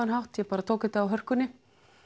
hátt ég bara tók þetta á hörkunni